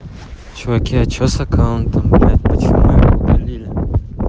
чуваки а че с аккаунтом блять почему его удалили